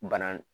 Bana